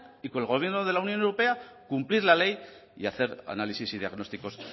y con el gobierno de la unión europea cumplir la ley y hacer análisis y diagnósticos